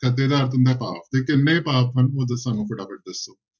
ਖੱਤੇ ਦਾ ਅਰਥ ਹੁੰਦਾ ਹੈ ਪਾਪ ਤੇ ਕਿੰਨੇ ਪਾਪ ਹਨ ਉਹ ਸਾਨੂੰ ਫਟਾਫਟ ਦੱਸੋ।